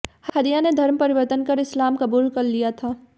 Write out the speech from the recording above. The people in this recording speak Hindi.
हदिया ने धर्म परिवर्तन कर इस्लाम कबूल कर लिया था